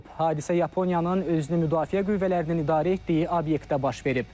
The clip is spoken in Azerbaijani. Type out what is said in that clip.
Hadisə Yaponiyanın özünü müdafiə qüvvələrinin idarə etdiyi obyektdə baş verib.